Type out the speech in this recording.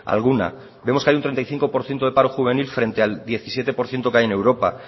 alguna vemos que hay treinta y cinco por ciento de paro juvenil frente al diecisiete por ciento que hay en europa